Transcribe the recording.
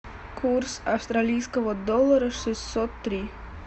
курс австралийского доллара шестьсот три